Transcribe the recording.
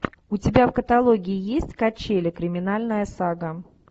у тебя в каталоге есть качели криминальная сага